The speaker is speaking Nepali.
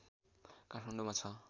काठमाडौँमा छ